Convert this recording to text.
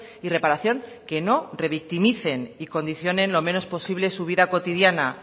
y reparación que no revictimicen y condicionen lo menos posible su vida cotidiana